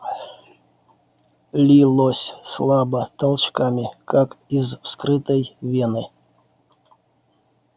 лилось слабо толчками как из вскрытой вены